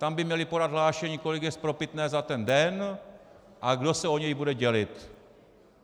Tam by měli podat hlášení, kolik je spropitné za ten den a kdo se o něj bude dělit.